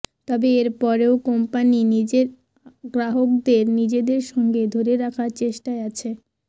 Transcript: তবে এর পরেও কোম্পানি নিজের গ্রাহকদের নিজদের সঙ্গে ধরে রাখার চেষ্টায় আছে